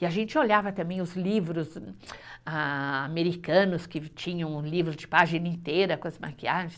E a gente olhava também os livros americanos, que tinham livros de página inteira com as maquiagens.